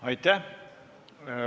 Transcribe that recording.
Aitäh!